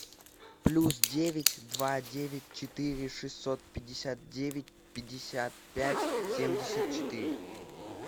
плюс девять два девять четыре шестьсот пятьдесят девять пятьдесят пять семьдесят четыре